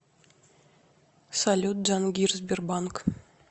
салют джангир сбербанк